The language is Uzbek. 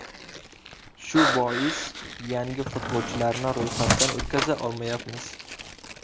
Shu bois yangi futbolchilarni ro‘yxatdan o‘tkaza olmayapmiz.